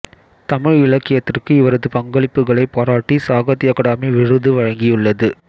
தமிழ் இலக்கியத்திற்கு இவரது பங்களிப்புகளைப் பாராட்டி சாகித்ய அகாடமி விருது வழங்கியுள்ளது